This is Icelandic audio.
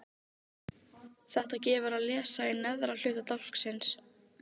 Maðurinn fór sannarlega ekki alfaraleið í fjárprettum sínum.